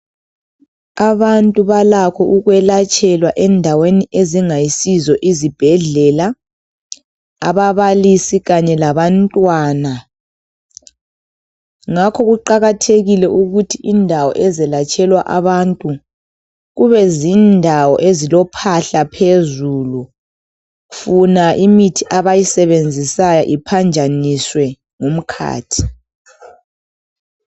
Abantu balakho ukwelatshelwa endaweni ezingayizo izibhendlela ababalisi kanye labantwana ngakho kuqakathekile ukuthi indawo ezelatshelwa abantu kubezindawo ezilophahla phezulu funa imithi abayisebenzisayo iphanjaniswe ngumkhathi.